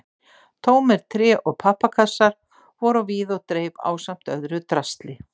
Tómir tré- og pappakassar voru á víð og dreif ásamt öðru drasli.